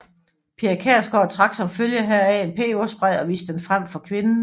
Pia Kjærsgaard trak som følge heraf en peberspray og viste den frem for kvinden